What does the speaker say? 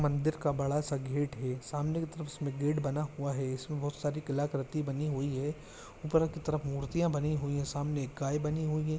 मंदिर का बड़ा सा गेट है सामने की तरफ इसमें गेट बना हुआ है इसमें बहुत सारी कलाकृति बनी हुई है ऊपर की तरफ मूर्तियां बनी हुई है सामने एक गाय बनी हुई है।